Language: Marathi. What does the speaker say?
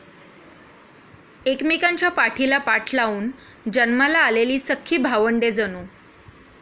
एकमेकांच्या पाठीला पाठ लावून जन्माला आलेली सख्खी भावंडे जणू.